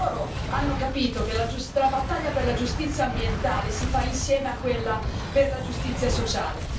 Loro hanno capito che la battaglia per la giustizia ambientale si fa insieme a quella per la giustizia sociale.